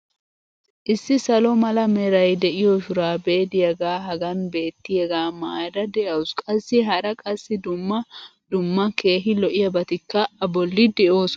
Issi salo mala meray de'iyo shuraabee diyaagee hagan beetiyaagaa maayada de'awusu qassi hara qassi dumma dumma keehi lo'iyaabatikka a bolli de'oosona.